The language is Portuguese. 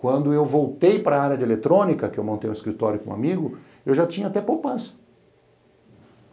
Quando eu voltei para área de eletrônica, que eu montei um escritório com um amigo, eu já tinha até poupança.